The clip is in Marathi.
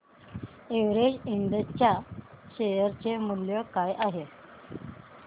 एव्हरेस्ट इंड च्या शेअर चे मूल्य काय आहे